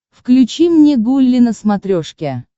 включи мне гулли на смотрешке